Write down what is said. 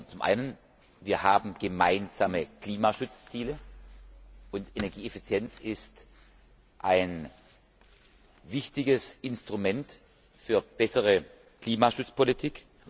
Zum einen haben wir gemeinsame Klimaschutzziele, und Energieeffizienz ist ein wichtiges Instrument für bessere Klimaschutzpolitik.